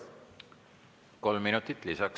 Kolm minutit lisaks.